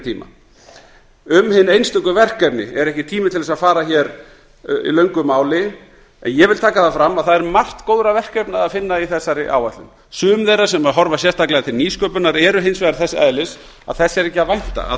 tíma um hin einstöku verkefni er ekki tími til að fara í löngu máli en ég tek fram að það er margt góðra verkefna að finna í þessari áætlun sum þeirra sem horfa sérstaklega til nýsköpunar eru hins vegar þess eðlis að þess er ekki að vænta